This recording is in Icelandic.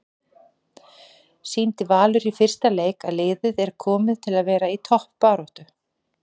Sýndi Valur í fyrsta leik að liðið er komið til að vera í toppbaráttu?